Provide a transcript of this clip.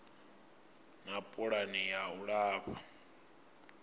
na pulani ya u alafha